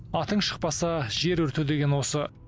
атың шықпаса жер өрте деген осы